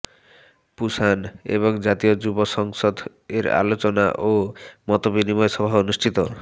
Pusan এবং জাতীয় যুব সংসদ এর আলোচনা ও মতবিনিময় সভা অনুষ্ঠিত